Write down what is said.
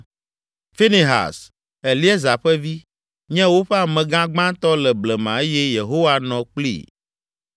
Finehas, Eleazar ƒe vi, nye woƒe amegã gbãtɔ le blema eye Yehowa nɔ kplii.